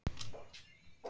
Saga verður til